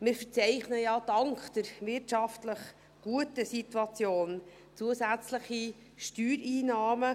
Wir verzeichnen dank der wirtschaftlich guten Situation zusätzliche Steuereinnahmen.